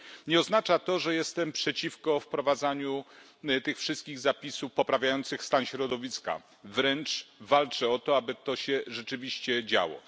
Nie oznacza to, że jestem przeciwko wprowadzaniu tych wszystkich zapisów poprawiających stan środowiska, wręcz walczę o to, aby to się rzeczywiście działo.